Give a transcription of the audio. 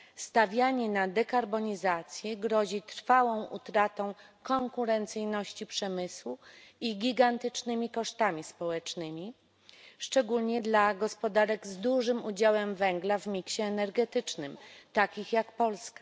Stawianie na dekarbonizację grozi trwałą utratą konkurencyjności przemysłu i gigantycznymi kosztami społecznymi, szczególnie dla gospodarek z dużym udziałem węgla w miksie energetycznym, takich jak Polska.